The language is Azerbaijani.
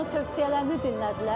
Onların tövsiyələrini dinlədilər.